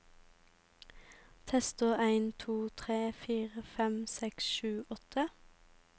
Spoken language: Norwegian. Tester en to tre fire fem seks sju åtte